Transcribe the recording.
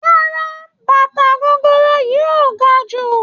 Rárá bàtà gogoro yìí ò ga jù.